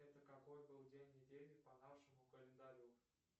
это какой был день недели по нашему календарю